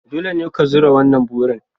Dole ne ka zura wannan burin